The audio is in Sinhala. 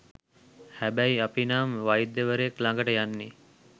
හැබැයි අපි නම් වෛද්‍යවරයෙක්‌ ළඟට යන්නෙ